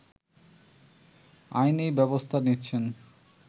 আইনী ব্যবস্থা নিচ্ছেন